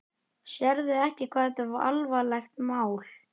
Sérðu ekki hvað þetta er alvarlegt mál?